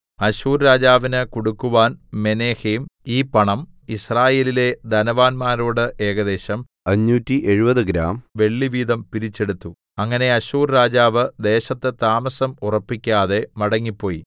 അശ്ശൂർ രാജാവിന് കൊടുക്കുവാൻ മെനഹേം ഈ പണം യിസ്രായേലിലെ ധനവാന്മാരോട് ഏകദേശം 570 ഗ്രാം വെള്ളിവീതം പിരിച്ചെടുത്തു അങ്ങനെ അശ്ശൂർ രാജാവ് ദേശത്ത് താമസം ഉറപ്പിക്കാതെ മടങ്ങിപ്പോയി